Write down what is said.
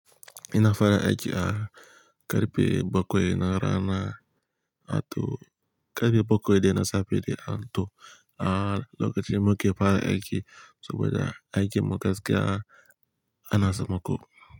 Ina fara aiki a karfe bakwai na rana, ato karfe bakwai dai na safe ne, ato a lokacin muke fara aiki saboda aikin mu gaskiya ana sammako.